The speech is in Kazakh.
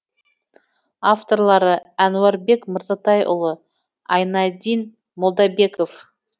авторлары әнуарбек мырзатайұлы айнадин молдабеков